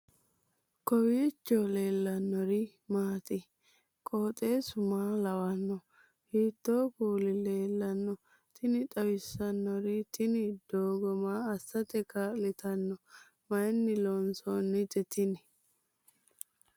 kowiicho leellannori maati ? qooxeessu maa lawaanno ? hiitoo kuuli leellanno ? tini xawissannori tini doogo maa assate kaa'litanno mayinni loonsoonnite tini